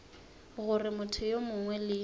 gore motho yo mongwe le